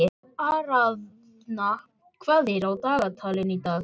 Aríaðna, hvað er á dagatalinu í dag?